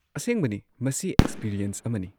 ꯑꯁꯦꯡꯕꯅꯤ ꯃꯁꯤ ꯑꯦꯛꯁꯄꯤꯔꯤꯑꯦꯟꯁ ꯑꯃꯅꯤ꯫